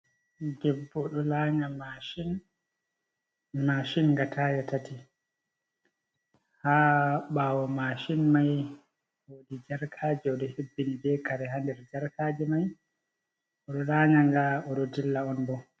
Debbo ɗo lanya mashin, mashin nga taaya tati. Ha ɓaawo mashin mai woodi jarkaaji o ɗo hebbini be kare ha nder jarkaji mai. O ɗo lanya nga, o ɗo dilla on bo.